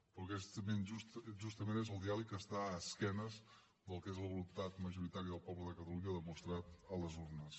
perquè justament és el diàleg que està a esquenes del que és la voluntat majoritària del poble de catalunya demostrada a les urnes